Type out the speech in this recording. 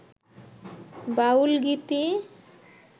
বাউল গীতি